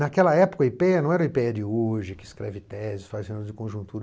Naquela época, o i pê ê á não era o i pê ê á de hoje, que escreve teses, faz cenários de conjuntura.